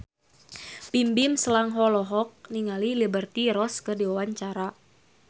Bimbim Slank olohok ningali Liberty Ross keur diwawancara